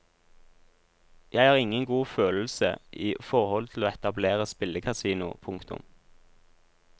Jeg har ingen god følelse i forhold til å etablere spillekasino. punktum